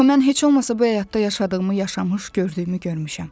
Axı mən heç olmasa bu həyatda yaşadığımı yaşamış, gördüyümü görmüşəm.